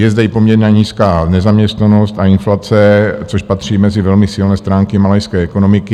Je zde i poměrně nízká nezaměstnanost a inflace, což patří mezi velmi silné stránky malajské ekonomiky.